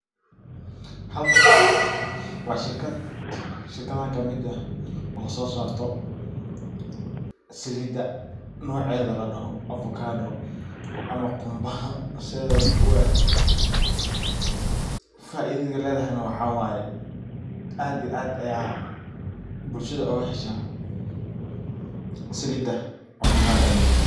Halkan waa shirkad, shirkadaha kamid eh oo so sarta salida nocedha ladoho avocado ama gumbaha sidedha u eg faidada ay ledhahay waxa waye aad iyo aad ayey bulshadha oga hesha salida avokadodha ladoho.